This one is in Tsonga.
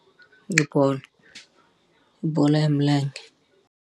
I bolo. I bolo ya milenge.